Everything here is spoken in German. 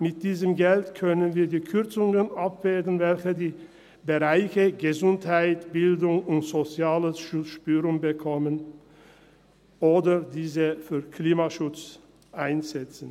– Mit diesem Geld können wir die Kürzungen abwägen, welche die Bereiche Gesundheit, Bildung und Soziales zu spüren bekommen, oder es für den Klimaschutz einsetzen.